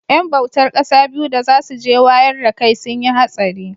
yan bautar kasa biyu da za su je wayar dakai sun yi hatsari